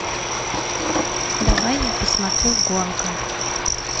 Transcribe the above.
давай я посмотрю гонка